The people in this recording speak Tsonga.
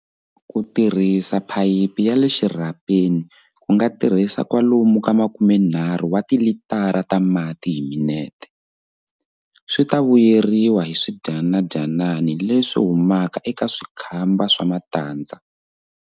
Ku tirhisa phayiphi ya le xirhapeni ku nga tirhisa kwalomu ka 30 wa tilitara ta mati hi minete. Swi ta vuyeriwa hi swidyanadyanani leswi humaka eka swikhamba swa matandza.